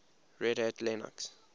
red hat linux